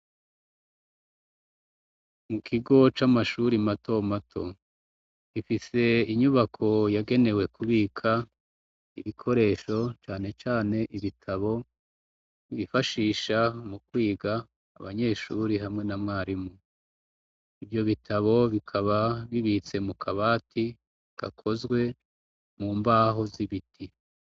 Mu kigo camashure matomato gifise inyubako yagenewe kubika ibikoresho canecane ibitabo bifashisha mu kwiga abanyeshure hamwe namwarimu ivyo bitabo bikaba bibitse mu kabati gakozwe mu mbaho zibiti